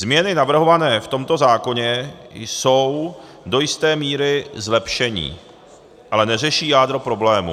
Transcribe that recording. Změny navrhované v tomto zákoně jsou do jisté míry zlepšení, ale neřeší jádro problému.